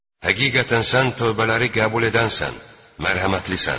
Həqiqətən sən tövbələri qəbul edənsən, mərhəmətlisən.